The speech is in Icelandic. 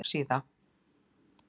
Topp síða